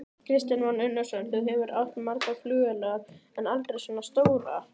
Kristján Már Unnarsson: Þú hefur átt margar flugvélar, en aldrei svona stórar?